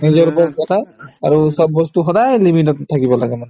নিজৰ ওপৰত কথা আৰু চব বস্তু সদায় limit তত থাকিব লাগে